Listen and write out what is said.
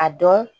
A dɔn